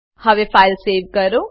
હવે file save કરો